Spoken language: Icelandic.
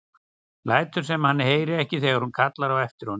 Lætur sem hann heyri ekki þegar hún kallar á eftir honum.